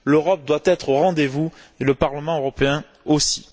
L'Europe doit être au rendez vous et le Parlement européen aussi.